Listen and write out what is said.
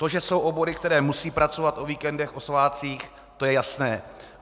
To, že jsou obory, které musí pracovat o víkendech, o svátcích, to je jasné.